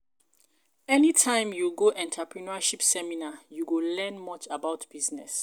anytime you go entrepreneurship seminar, you go learn much about business